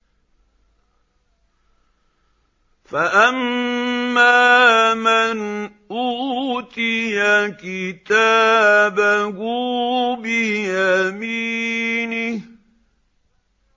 فَأَمَّا مَنْ أُوتِيَ كِتَابَهُ بِيَمِينِهِ